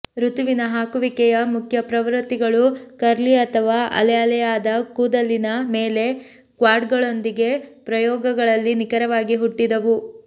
ಋತುವಿನ ಹಾಕುವಿಕೆಯ ಮುಖ್ಯ ಪ್ರವೃತ್ತಿಗಳು ಕರ್ಲಿ ಅಥವಾ ಅಲೆಅಲೆಯಾದ ಕೂದಲಿನ ಮೇಲೆ ಕ್ವಾಡ್ಗಳೊಂದಿಗೆ ಪ್ರಯೋಗಗಳಲ್ಲಿ ನಿಖರವಾಗಿ ಹುಟ್ಟಿದವು